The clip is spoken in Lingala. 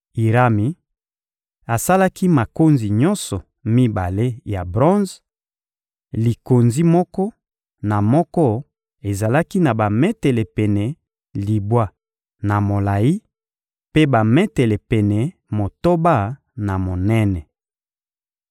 Irami asalaki makonzi nyonso mibale ya bronze: likonzi moko na moko ezalaki na bametele pene libwa na molayi, mpe bametele pene motoba na monene.